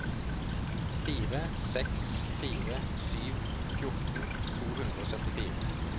fire seks fire sju fjorten to hundre og syttifire